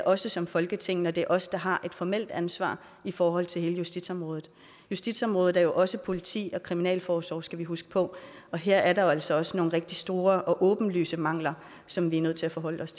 også som folketing når det er os der har det formelle ansvar i forhold til hele justitsområdet justitsområdet er jo også politi og kriminalforsorg skal vi huske på og her er der altså også nogle rigtig store og åbenlyse mangler som vi er nødt til at forholde os